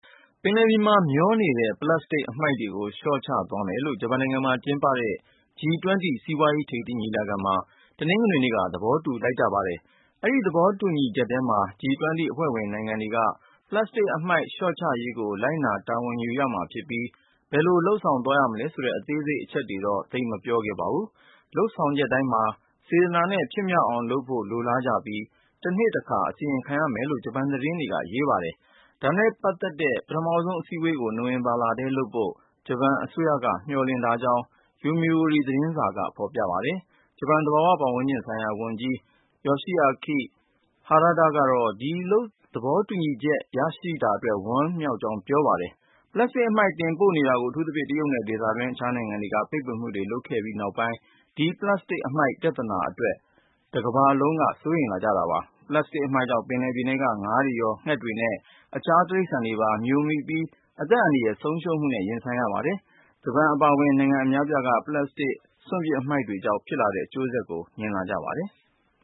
ပင်လယ်ပြင်မှာ မျောနေတဲ့ ပလပ်စတစ်အမှိုက်တွေကို လျှော့ချသွားမယ်လို့ ဂျပန်နိုင်ငံမှာ ကျင်းပနေတဲ့ G20 စီးပွားရေးထိပ်သီး ညီလာခံမှာ တနင်္ဂနွေနေ့က သဘောတူလိုက်ပါတယ်။ အဲဒီသဘောတူညီချက်ထဲမှာ G20 အဖွဲ့ဝင် နိုင်ငံတွေက ပလပ်စတစ်အမှိုက်လျှော့ချရေးကို လိုက်နာတာဝန်ယူရမှာဖြစ်ပြီး ဘယ်လိုလုပ်ဆောင် သွားရမလဲဆိုတဲ့ အသေးစိတ်အချက်တွေ တော့ သိပ်မပြောခဲ့ပါဘူး။ လုပ်ဆောင်ချက်တိုင်းမှာ စေတနာနဲ့ ဖြစ်မြောက်အောင်လုပ်ဖို့ လိုလားကြပြီး တနှစ်တခါ အစီရင်ခံရမယ်လို့ ဂျပန်သတင်းတွေက ရေးပါတယ်။ ဒါနဲ့ပတ်သက်တဲ့ ပထမဆုံးအစည်းဝေးကို နိုဝင်ဘာထဲလုပ်ဖို့ ဂျပန်အစိုးရက မျှော်လင့်ထားကြောင်း Yomiuri သတင်းစာက ဖေါ်ပြပါတယ်။ ဂျပန်သဘာဝဝန်းကျင်ဆိုင်ရာ ဝန်ကြီး Yoshiaki Harada ကတော့ ဒီလိုသဘောတူညီချက် ရရှိတာအတွက် ဝမ်းမြောက်ကြောင်း ပြောပါတယ်။ ပလပ်စတစ်အမှိုက် တင်ပို့နေတာကို အထူးသဖြင့် တရုတ်နဲ့ ဒေသတွင်း အခြားနိုင်ငံတွေက ပိတ်ပင်မှုတွေ လုပ်ခဲ့ကြပြီးနောက်ပိုင်း ဒီပလပ်စတစ်အမှိုက်ပြဿနာအတွင် တကမ္ဘာလုံးက စိုးရိမ်လာကြပါတယ်။ ပလပ်စတစ်အမှိုက်ကြောင့် ပင်လယ်ပြင်ထဲက ငါးတွေရော၊ ငှက်တွေနဲ့ အခြားတိရစ္ဆာန်တွေပါ မြိုမိပြီး အသက်အန္တရာယ် ဆုံးရှုံးမှုနဲ့ ရင်ဆိုင်ရတာပါ။ ဂျပန်အပါဝင် နိုင်ငံအများအပြားက ပလပ်စတစ် စွန့်ပစ်အမှိုက်တွေကြောင့် ဖြစ်လာတဲ့ အကျိုးဆက်တွေကို မြင်လာကြ ပါတယ်။